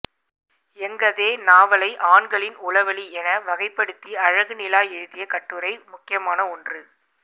எங்கதே நாவலை ஆண்களின் உளவெளி என வகைப்படுத்தி அழகுநிலா எழுதிய கட்டுரை முக்கியமான ஒன்று